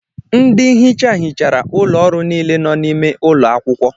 Ndị nhicha hichara ụlọ ọrụ niile nọ n'ime ụlọ akwụkwọ.